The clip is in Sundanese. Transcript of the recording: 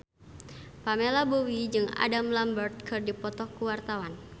Pamela Bowie jeung Adam Lambert keur dipoto ku wartawan